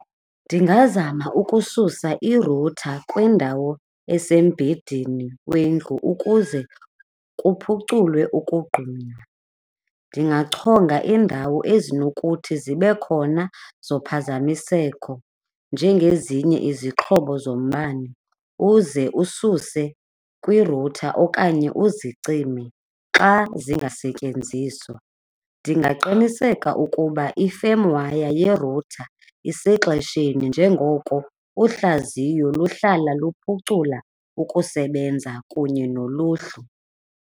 Ndingazama ukususa irutha kwindawo asembhidini wendlu ukuze kuphuculwe ukogquma. Ndingachonga iindawo ezinokuthi zibe khona zophazamiseko njengezinye izixhobo zombane uze ususe kwirutha okanye uzicime xa zingasetyenziswa. Ndingaqiniseka ukuba i-firm wire yerutha isexesheni njengoko uhlaziyo luhlala luphucula ukusebenza kunye noluhlu.